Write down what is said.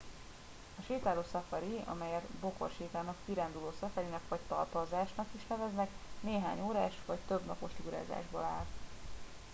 a sétáló szafari amelyet bokorsétának” kiránduló szafarinak” vagy talpazásnak” is neveznek néhány órás vagy több napos túrázásból áll